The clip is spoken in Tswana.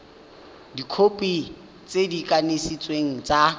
dikhopi tse di kanisitsweng tsa